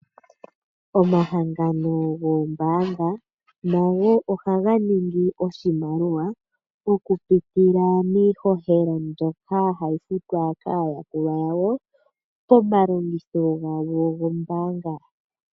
Omahangano goombaanga nago ohaga ningi oshimaliwa, okupitila miishoshela mbyoka hayi futwa kaayakulwa yawo, komalobgitho gawo gombaanga.